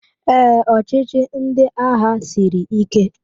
Ee, ọchịchị ndị agha siri ike